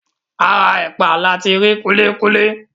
Ara ẹ̀pà ni ati rí kúlíkúlí.